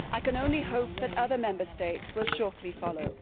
I can only hope that other Member States will shortly follow.